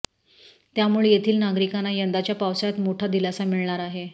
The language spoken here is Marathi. त्यामुळे येथील नागरिकांना यंदाच्या पावसाळ्यात मोठा दिलासा मिळणार आहे